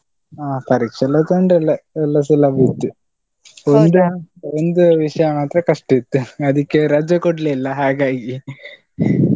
ಅಹ್ ಪರೀಕ್ಷೆಯೆಲ್ಲ ತೊಂದ್ರೆ ಇಲ್ಲ, ಎಲ್ಲಾ ಸುಲಭ ಇತ್ತು, ಒಂದು, ಒಂದು ವಿಷಯ ಮಾತ್ರ ಕಷ್ಟ ಇತ್ತು, ಅದಿಕ್ಕೆ ರಜೆ ಕೊಡ್ಲಿಲ್ಲ ಹಾಗಾಗಿ.